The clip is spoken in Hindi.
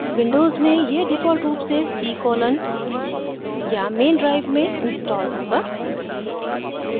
windows में यह default रूप से c colon या main drive में installed होगा